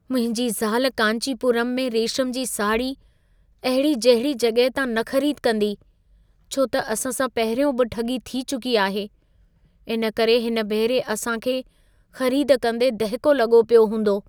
मुंहिंजी ज़ाल कांचीपुरम में रेशम जी साड़ी अहिड़ी- जहिड़ी जॻहि तां न ख़रीद कंदी, छो त असां सां पहिरियों बि ठॻी थी चुकी आहे। इन करे हिन भेरे असां खे ख़रीदी कंदे दहिको लॻो पियो हूंदो।